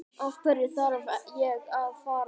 Af hverju þarf ég að fara?